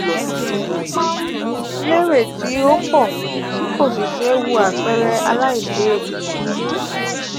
o ma um n ma um n lere ti um o po ti ko si sewu apeere “alailewu.” um